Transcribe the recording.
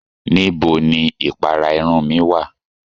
Nibó ni ìpàrà ìrun mi wa?